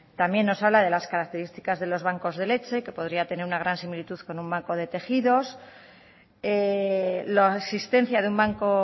también nos habla de las características de los bancos de leche que podría tener una gran similitud con un banco de tejidos la existencia de un banco